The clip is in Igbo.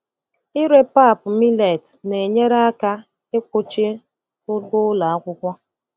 Ịre pap millet na-enyere aka ikpuchi ụgwọ ụlọ akwụkwọ.